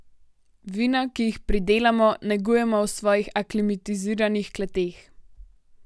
Vina, ki jih pridelamo, negujemo v svojih aklimatiziranih kleteh.